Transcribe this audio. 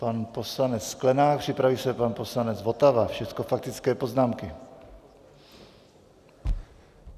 Pan poslanec Sklenák, připraví se pan poslanec Votava, všecko faktické poznámky.